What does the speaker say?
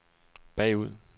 bagud